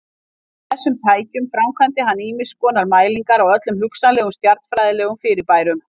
Með þessum tækjum framkvæmdi hann ýmiskonar mælingar á öllum hugsanlegum stjarnfræðilegum fyrirbærum.